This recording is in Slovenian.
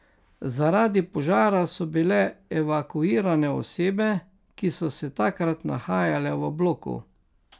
Zaradi požara so bili evakuirane osebe, ki so se takrat nahajale v bloku.